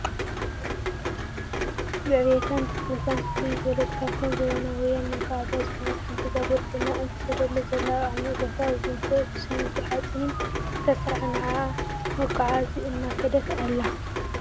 ብዕብየታን ብፍጥነታን ፍልይ ዝበለት ካብተን ዘመናዊያን መጋዓዝያ ዝኮነት ሓንቲ ባቡር ኮይና እትከደሉ ዘላ ኣብ ዓሚቅ ቦታ ብቢንቶ /ብስሚንቶ/ ሓፂንን ዝተሰርሐ ንዓዓ መጋዓዚ እናከደት ኣላ ።